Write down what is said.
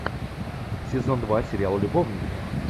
сезон два сериал любовники